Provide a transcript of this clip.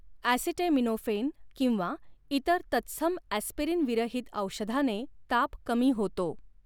Acetaminophen किंवा इतर तत्सम ॲस्पिरिन विरहित औषधाने ताप कमी होतो.